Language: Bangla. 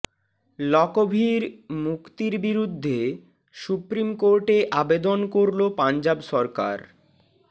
লকভির মুক্তির বিরুদ্ধে সুপ্রিম কোর্টে আবেদন করল পঞ্জাব সরকার